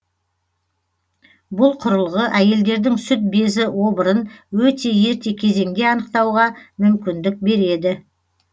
бұл құрылғы әйелдердің сүт безі обырын өте ерте кезеңде анықтауға мүмкіндік береді